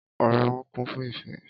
Ọrẹ wọn kún fún ìfẹ́